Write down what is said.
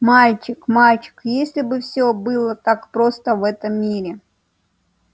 мальчик мальчик если бы все было так просто в этом мире